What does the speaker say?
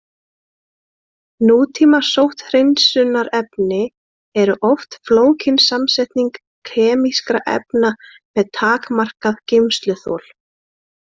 Nútíma sótthreinsunarefni eru oft flókin samsetning kemískra efna með takmarkað geymsluþol.